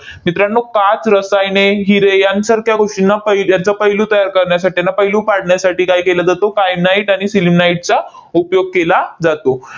मित्रांनो, पाच रसायने, हिरे यांसारख्या गोष्टींना पहि यांचा पैलू तयार करण्यासाठी, यांना पैलू पाडण्यासाठी काय केला जातो? kyanite आणि sillimanite चा उपयोग केला जातो.